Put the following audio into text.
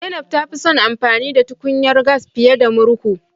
Zainab ta fi son amfani da tukunyar gas fiye da murhu